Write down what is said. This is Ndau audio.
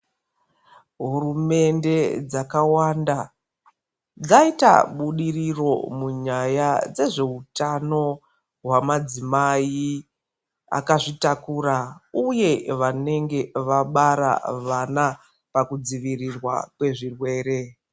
Hurumende dzakawanda dzaita budiriro munyaya dzezveutano hwamadzimai akazvitakura uye vanenge vabara vana pakudzivirurwa kwezvirwere.